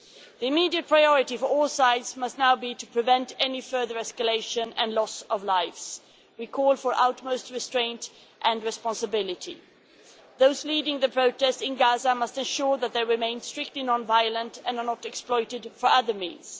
The immediate priority for all sides must now be to prevent any further escalation and loss of life. We call for utmost restraint and responsibility. Those leading the protest in Gaza must ensure that they remain strictly non violent and are not exploited for other means.